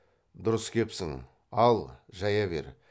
дұрыс кепсін ал жая бер